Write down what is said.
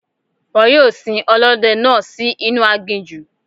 Wọ́n yóò sin Ọlọ́dẹ náà sì inú aginjù.